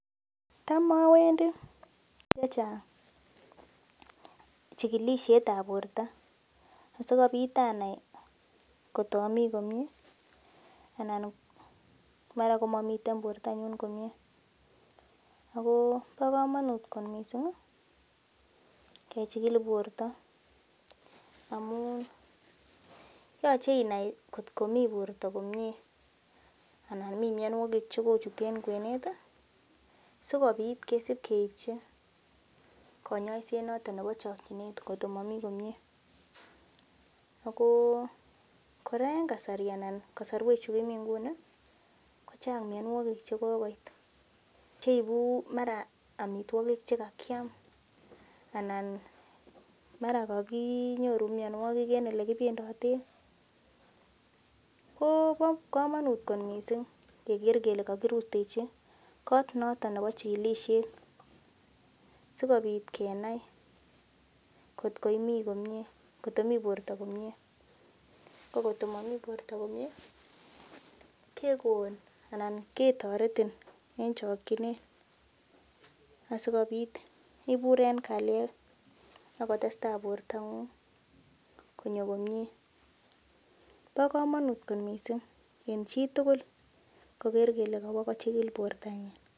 Tam owendii chechang chukikomin ab borto asikobit anai kot omii komie anan mara komomiten bortonyun komie ako bo komonut kot missing kechikil borto amun yoche inai kotkomii borto komie anan mii mionwogik chekochut en kwenet ih sikobit kesip keipchi konyoiset noton nebo chokyinet kotko momii komie ako kora en kasari anan kosorwek chu kimii nguni ko chang mionwogik chekokoit cheibu mara amitwogik chekakiam anan mara kakinyoru mionwogik en elekokibendoten kobo komonut kot missing keker kele kokirutechi kot noton nebo chikilisiet sikobit kenai kot koimii komie koto mii borto komie ko kotkomii borto komie kekon anan ketoretin en chokyinet asikobit ibur en kalyet akotestaa bortong'ung konyo komie bo komonut kot missing en chitugul koker kole kowo kochigil bortonyin